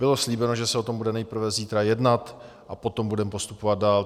Bylo slíbeno, že se o tom bude nejprve zítra jednat a potom budeme postupovat dál.